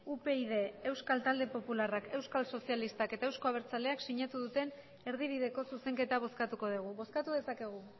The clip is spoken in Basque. upyd euskal talde popularrak euskal sozialistak eta euzko abertzaleak sinatu duten erdibideko zuzenketa bozkatuko dugu bozkatu dezakegu